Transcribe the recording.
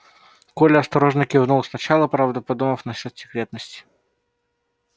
коля осторожно кивнул сначала правда подумав насчёт секретности